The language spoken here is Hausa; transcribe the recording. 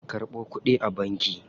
Karɓo kuɗin a banki.